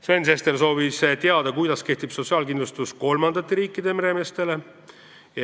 Sven Sester soovis teada, kuidas kehtib sotsiaalkindlustus kolmandate riikide meremeestele.